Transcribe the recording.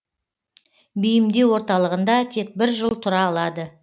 бейімдеу орталығында тек бір жыл тұра алады